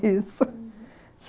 uhum.